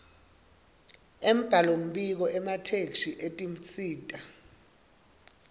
embhalombiko emathektshi etinsita